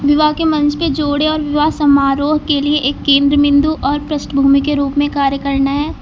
विवाह के मंच पे जोड़े और विवाह समारोह के लिए एक केंद्र बिंदु और पृष्ठभूमि के रूप में कार्य करना है।